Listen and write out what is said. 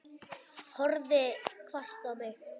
Horfði hvasst á mig.